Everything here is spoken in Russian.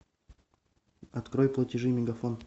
открой платежи мегафон